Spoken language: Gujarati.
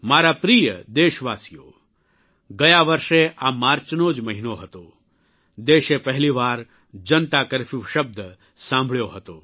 મારા પ્રિય દેશવાસીઓ ગયા વર્ષે આ માર્ચનો જ મહિનો હતો દેશે પહેલી વાર જનતાકર્ફ્યૂ શબ્દ સાંભળ્યો હતો